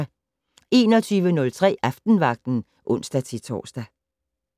21:03: Aftenvagten (ons-tor)